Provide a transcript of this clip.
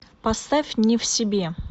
поставь не в себе